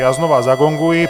Já znova zagonguji.